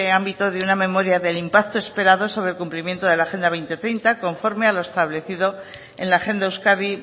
ámbito de una memoria del impacto esperado sobre el cumplimiento de la agenda dos mil treinta conforme a lo establecido en la agenda euskadi